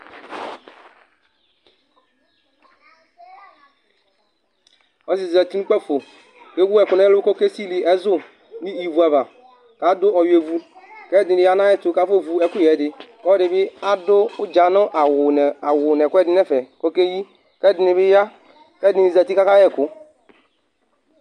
Ɔlɔdi zɛti nʋ ʋkpafo Ɛwu ɛku nʋ ɛlu kʋ ɔke sili ɛzu nʋ ívu ava kʋ adu ɔwʋiɛ vʋ kʋ ɛdiní ya nʋ ɛkuyɛ tu kʋ afɔ vʋ ɛkʋyɛ di kʋ ɔlɔdi bi adu asi nʋ awu nʋ ɛkʋɛdi nʋ ɛfɛ kʋ ɔkeyi kʋ ɛdiní bi ya kʋ ɛdiní zɛti kʋ aka yɛ ɛku